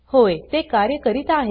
होय ते कार्य करीत आहे